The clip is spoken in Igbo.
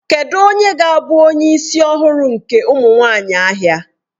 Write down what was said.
Kedụ onye ga-abụ onye isi ọhụrụ nke ụmụ nwanyị ahịa?